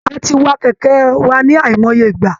A ti wa kẹ̀kẹ́ wa ní àìmọye ìgbà